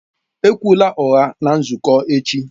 Ekwula ụgha na nzukọ echi!